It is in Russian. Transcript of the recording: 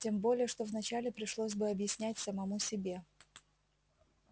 тем более что вначале пришлось бы объяснять самому себе